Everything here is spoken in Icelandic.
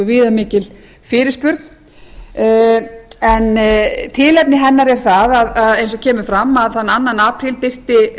viðamikil fyrirspurn en tilefni hennar er það eins og kemur fram að þann annan apríl birti